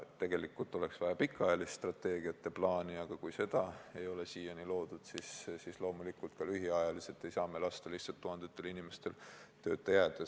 Tegelikult oleks vaja pikaajalist strateegiat ja plaani, aga kui seda ei ole siiani loodud, siis loomulikult ka lühiajaliselt ei saa me lasta lihtsalt tuhandetel inimestel tööta jääda.